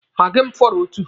Maagi m fọrọ otu.